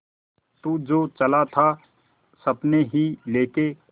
तू तो चला था सपने ही लेके